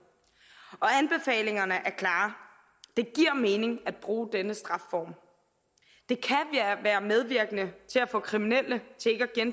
og anbefalingerne er klare det giver mening at bruge denne strafform det kan være medvirkende til at få kriminelle